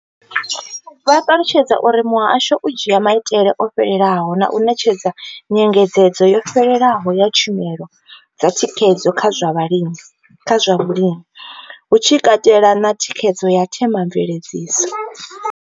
Vho ṱalutshedza uri muhasho u dzhia maitele o fhelelaho na u ṋetshedza nyengedzedzo yo fhelelaho ya tshumelo dza thikhedzo kha zwa vhulimi, hu tshi katelwa na thikhedzo ya Thema mveledziso.